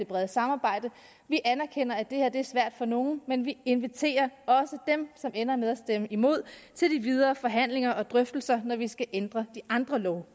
brede samarbejde vi anerkender at det her er svært for nogle men vi inviterer også dem som ender med at stemme imod til de videre forhandlinger og drøftelser når vi skal ændre de andre love